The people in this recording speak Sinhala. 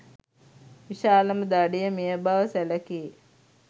විශාලම දඩය මෙය බව සැලකේ.